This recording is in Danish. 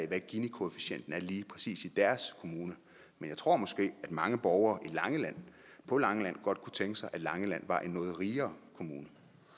hvad ginikoefficienten lige præcis er i deres kommune men jeg tror måske at mange borgere på langeland godt kunne tænke sig at langeland var en noget rigere kommune